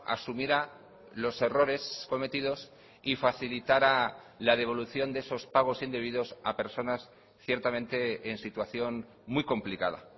asumiera los errores cometidos y facilitara la devolución de esos pagos indebidos a personas ciertamente en situación muy complicada